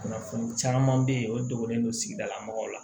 Kunnafoni caman be yen o donnen don sigida la mɔgɔw la